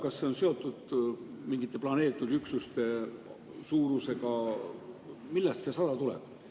Kas see on seotud mingite planeeritud üksuste suurusega või millest see 100 tuleb?